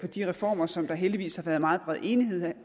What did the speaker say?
de reformer som der heldigvis har været meget bred enighed